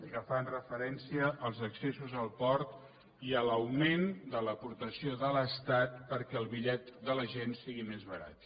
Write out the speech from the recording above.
que fan referència als accessos al port i a l’augment de l’aportació de l’estat perquè el bitllet de la gent sigui més barat